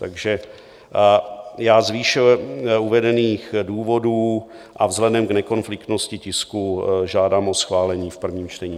Takže já z výše uvedených důvodů a vzhledem k nekonfliktnosti tisku žádám o schválení v prvním čtení.